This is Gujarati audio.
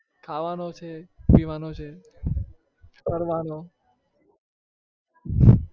ખાવાનો છે પીવાનો છે ફરવાનો